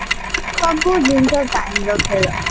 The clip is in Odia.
ସବୁ ଜିନିଷ time ର ଖେଳ